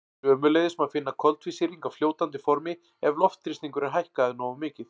Sömuleiðis má finna koltvísýring á fljótandi formi ef loftþrýstingur er hækkaður nógu mikið.